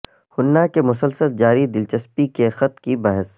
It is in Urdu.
ہننا کے مسلسل جاری دلچسپی کے خط کی بحث